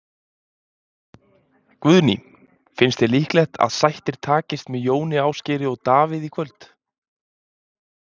Guðný: Finnst þér líklegt að sættir takist með Jóni Ásgeiri og Davíð í kvöld?